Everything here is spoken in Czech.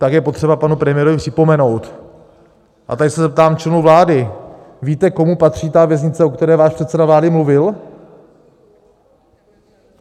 Tak je potřeba panu premiérovi připomenout, a tady se zeptám členů vlády: Víte, komu patří ta věznice, o které váš předseda vlády mluvil?